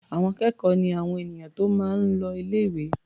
Àwọn akẹ́kọ̀ọ́ ni àwọn ènìyàn tó máa ń l o ilé-ìwé.